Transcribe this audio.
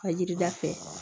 A yirida fɛ